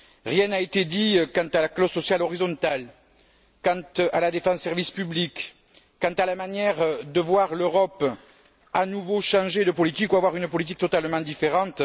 Rien n'a été dit quant à la clause sociale horizontale, quant à la défense des services publics, quant à la manière de voir l'Europe à nouveau changer de politique ou avoir une politique totalement différente.